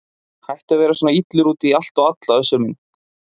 Hættu að vera svona illur út í allt og alla Össur minn.